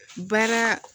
Baara